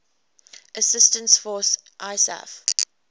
assistance force isaf